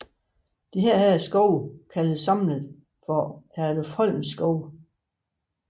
Disse skove kaldes samlet for Herlufsholmskovene